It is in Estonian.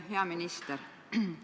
Hea minister!